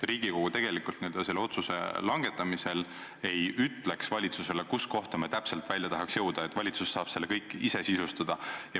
Riigikogu selle otsuse langetamisel ei ütleks valitsusele, kuhu kohta me täpselt välja tahaks jõuda, valitsus saab selle kõik ise sisustada.